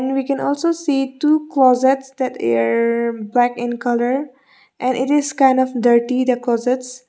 and we can also see two closets that air black in colour and it is kind of dirty the closets.